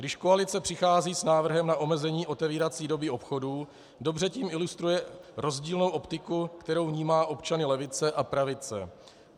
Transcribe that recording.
Když koalice přichází s návrhem na omezení otevírací doby obchodů, dobře tím ilustruje rozdílnou optiku, kterou vnímá občany levice a pravice.